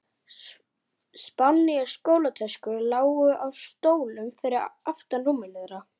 Ekki nóg með að